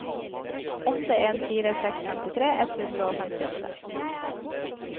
åtte en fire seks femtitre ett hundre og femtiåtte